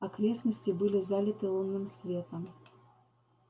окрестности были залиты лунным светом